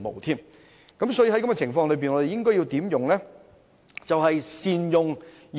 在現時情況下，我們應善用現有的資源。